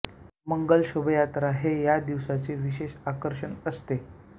मंगल शोभायात्रा हे या दिवसाचे विशेष आकर्षण असते